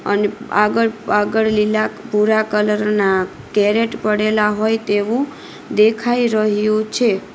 અને આગળ-આગળ લીલા ભૂરા કલર ના કેરેટ પડેલા હોય તેવું દેખાય રહ્યું છે.